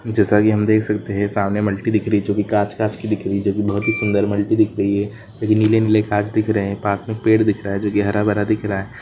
जैसा कि हम देख सकते हैं सामने मिटी दिख रही है जो कि कांच कांच की दिख रही है जो कि बहुत ही सुंदर मल्टी दिख रही है नीले नीले कांच दिख रहे हैं पास में पेड़ दिख रहा है जो कि हरा भरा दिख रहा है।